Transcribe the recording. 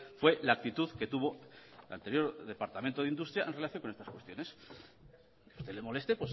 fue la actitud que tuvo el anterior departamento de industria en relación con estas cuestiones que a usted le moleste es